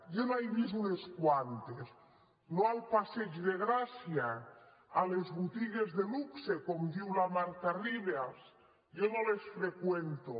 jo n’he vist unes quantes no al passeig de gràcia a les botigues de luxe com diu la marta ribas jo no les freqüento